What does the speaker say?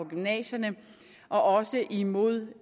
gymnasierne og også imod